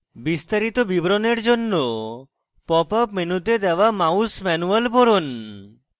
বিস্তারিত বিবরণের জন্য pop up মেনুতে দেওয়া mouse manual পড়ুন